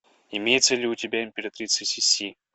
имеется ли у тебя императрица сиси